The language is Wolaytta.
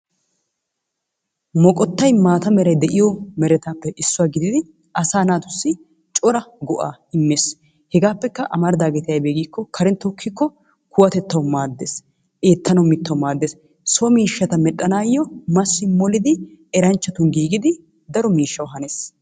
Moqqottay maataa mala meray de'iyobaappe issuwa gididi asaa naatussi cora go'aa immees. Hegaappekka amaridaageeti aybee giikko karen kokkikko kuwatettawu maaddees. Eettanawu mittawu maaddees, so miishshaata medhdhanaayo massi molidi eranchchatun giigidi daro miishshawu hanees.